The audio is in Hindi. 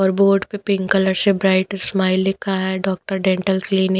और बोर्ड पे पिंक कलर से ब्राइट स्माइल लिखी है डॉक्टर डेंटल क्लिनिक --